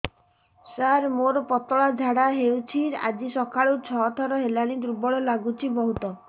ସାର ମୋର ପତଳା ଝାଡା ହେଉଛି ଆଜି ସକାଳୁ ଛଅ ଥର ହେଲାଣି ଦୁର୍ବଳ ଲାଗୁଚି ବହୁତ